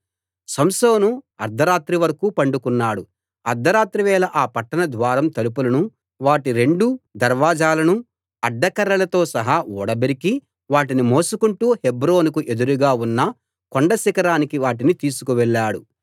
సంసోను అర్థ రాత్రి వరకూ పండుకున్నాడు అర్థ రాత్రి వేళ ఆ పట్టణం ద్వారం తలుపులను వాటి రెండు దర్వాజాలనూ అడ్డకర్రలతో సహా ఊడబెరికి వాటిని మోసుకుంటూ హెబ్రోనుకు ఎదురుగా ఉన్న కొండశిఖరానికి వాటిని తీసుకు వెళ్ళాడు